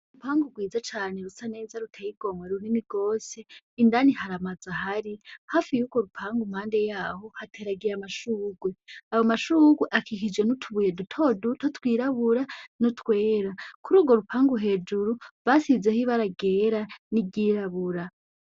Urupangu gwiza cane rusaneza ruteye igomwe runini gwose indani haramazu ahari; hafi y'ugwo rupangu mpande yaho hateragiye amashugwe, ayo mashugwe akikijwe n'utubuye dutoduto twirabura, n'utwera. Kurugwo rupangu hejuru basizeho ibara ryera n'iryirabura.